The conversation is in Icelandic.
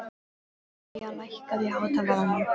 Eyja, lækkaðu í hátalaranum.